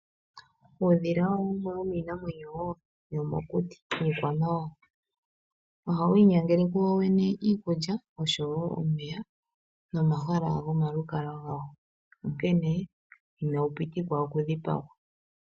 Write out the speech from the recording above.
Uudhila owo wumwe womiinamwenyo wo yomokuti yo miikwamawawa. Ohawu inyangele kowo wene iikulya noshowo omeya nomahala gomalukalwa gawo. Onkene inawu pitikwa okudhipagwa .